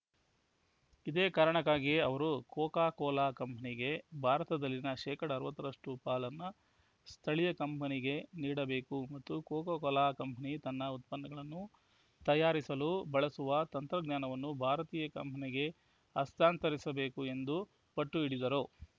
ಇದೇ ಕಾರಣಕ್ಕಾಗಿಯೇ ಅವರು ಕೋಕಾ ಕೋಲಾ ಕಂಪನಿಗೆ ಭಾರತದಲ್ಲಿನ ಅರವತ್ತರಷ್ಟುಪಾಲನ್ನು ಸ್ಥಳೀಯ ಕಂಪನಿಗೆ ನೀಡಬೇಕು ಮತ್ತು ಕೋಕಾ ಕೋಲಾ ಕಂಪನಿ ತನ್ನ ಉತ್ಪನ್ನಗಳನ್ನು ತಯಾರಿಸಲು ಬಳಸುವ ತಂತ್ರಜ್ಞಾನವನ್ನು ಭಾರತೀಯ ಕಂಪನಿಗೆ ಹಸ್ತಾಂತರಿಸಬೇಕು ಎಂದು ಪಟ್ಟು ಹಿಡಿದರು